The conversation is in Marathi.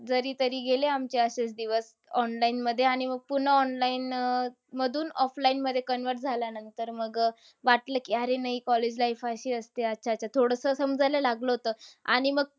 जरी तरी गेले आमचे असेच दिवस online मध्ये आणि पुन्हा online अह मधून offline मध्ये convert झाल्यानंतर. मग अह वाटलं की अरे नाही college life अशी असते. अच्छा-अच्छा! थोडंसं समजायला लागलं होतं. आणि मग